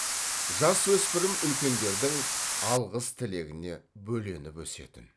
жасөспірім үлкендердің алғыс тілегіне бөленіп өсетін